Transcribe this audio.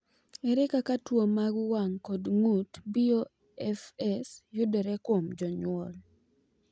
Ere kaka tuwo mar wang’ kod ng’ut (BOFS) yudore kuom jonyuol?